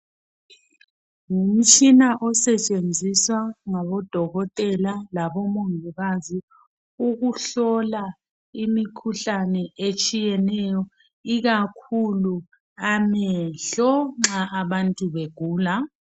Ngumtshina osetshenziswa ngabodokotela labomongikazi ukuhlola imikhuhlane etshiyeneyo. Ikakhulu amehlo nxa abantu begula.